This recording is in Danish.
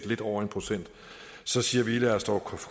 lidt over en procent så siger vi lad os dog